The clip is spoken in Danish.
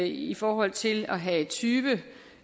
i forhold til at have tyve